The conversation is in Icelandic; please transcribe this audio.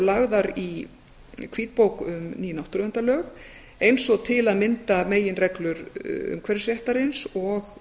lagðar í hvítbók um ný náttúruverndarlög eins og til að mynda meginreglur umhverfisréttarins og